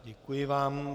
Děkuji vám.